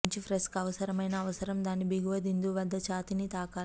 bench ప్రెస్కు అవసరమైన అవసరం దాని దిగువ బిందువు వద్ద ఛాతీని తాకాలి